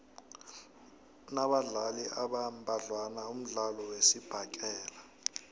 unabadlali abambadlwana umdlalo wesibhakela